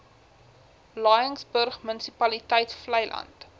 laingsburg munisipaliteit vleiland